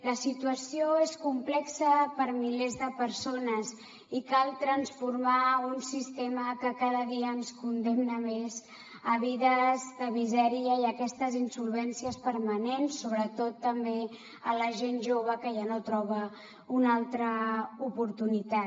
la situació és complexa per a milers de persones i cal transformar un sistema que cada dia ens condemna més a vides de misèria i a aquestes insolvències permanents sobretot també a la gent jove que ja no troba una altra oportunitat